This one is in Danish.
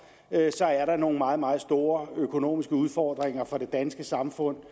er nogle meget meget store økonomiske udfordringer for det danske samfund